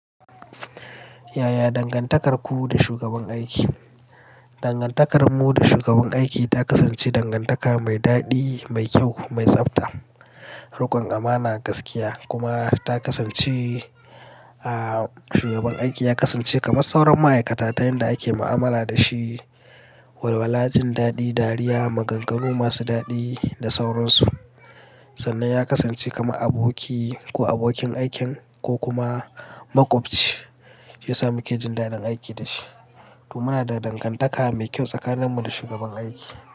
Ya ya dangantakarku da shugaban aiki? Dangantakarmu da shugaban aiki ta kasance dangantaka mai daɗi, mai kyau, mai tsafta, riƙon amana, gaskiya kuma ta kasance, ah, shugaban aiki ya kasance kamar sauran ma'aikata ta yanda ake mu'amala da shi. Walwala, jin daɗi, dariya, maganganu masu daɗi da sauransu. Sannan ya kasance kamar aboki ko abokin aikin ko kuma maƙwabci, shi ya sa muke jin daɗin aiki da shi. To muna da dangantaka mai kyau tsakanin mu da shugaban aiki.